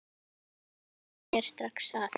Hann kemur þér strax að.